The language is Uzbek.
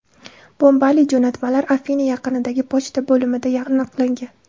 Bombali jo‘natmalar Afina yaqinidagi pochta bo‘limida aniqlangan.